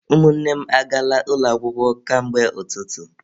Ụmụnne m agaala ụlọ akwụkwọ ka mgbe ụtụtụ..